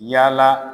Yala